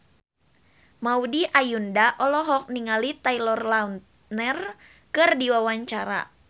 Maudy Ayunda olohok ningali Taylor Lautner keur diwawancara